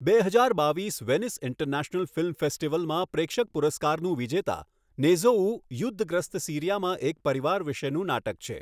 બે હજાર બાવીસ વેનિસ ઇન્ટરનેશનલ ફિલ્મ ફેસ્ટિવલમાં પ્રેક્ષક પુરસ્કારનો વિજેતા, નેઝોઉહ યુદ્ધગ્રસ્ત સીરિયામાં એક પરિવાર વિશેનું નાટક છે.